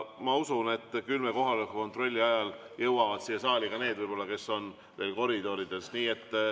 Ma usun, et küll kohaloleku kontrolli ajal jõuavad siia saali ka need, kes on veel koridorides.